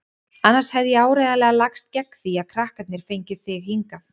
Annars hefði ég áreiðanlega lagst gegn því að krakkarnir fengju þig hingað.